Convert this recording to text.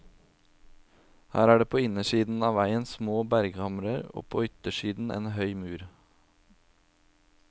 Her er det på innersida av vegen små berghamrer, på yttersida en høy mur.